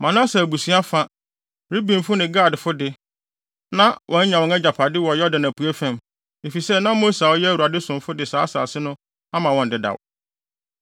Manase abusua fa, Rubenfo ne Gadfo de, na wɔanya wɔn agyapade wɔ Yordan apuei fam, efisɛ na Mose a ɔyɛ Awurade somfo no de saa asase no ama wɔn dedaw.